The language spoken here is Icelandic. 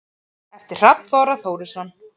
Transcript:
eftir hrafn þorra þórisson